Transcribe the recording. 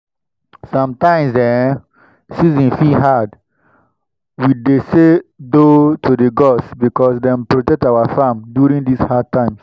sometimes ehn! season fit hard. we dey say 'doh' to the gods because dem protect our farm during these hard times.